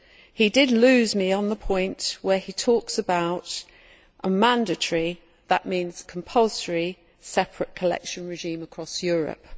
The rapporteur lost my support on the point where he talks about a mandatory that means compulsory separate collection regime across Europe.